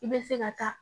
I bɛ se ka taa